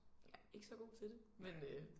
Jeg ikke så god tid det men øh